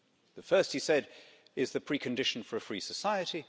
The first, he said, is the precondition for a free society